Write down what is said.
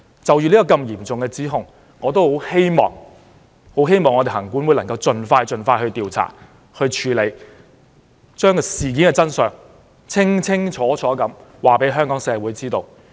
就這項如此嚴重的指控，我希望行政管理委員會盡快調查和處理，將事件的真相清楚告訴香港社會。